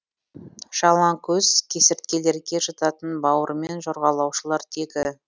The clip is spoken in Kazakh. жалаңкөз кесірткелерге жататын бауырымен жорғалаушылар тегі